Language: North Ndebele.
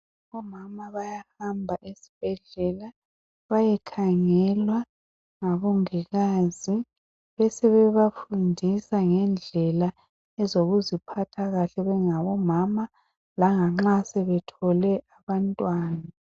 Omama bayahamba ezibhedlela bayekhangelwa ngabongikazi besebeba fundisa ngendlela zokuziphatha kahle bengabomama langa nxa sebethole abantwana.